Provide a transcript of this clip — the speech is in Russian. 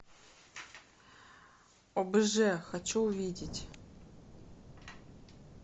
обж хочу увидеть